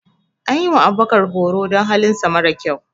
An yi wa Abubakar horo don halinsa mara sa kyau.